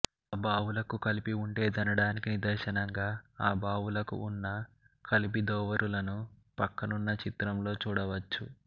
ఆ బావులకు కపిలి వుండేదనడానికి నిదర్శనంగా ఆ బావులకు ఉన్న కపిలి దొరువులను ప్రక్కనున్న చిత్రంలో చూడ వచ్చు